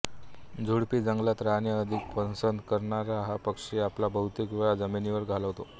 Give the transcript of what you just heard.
झुडपी जंगलात राहणे अधिक पसंत करणारा हा पक्षी आपला बहुतेक वेळ जमिनीवर घालवतो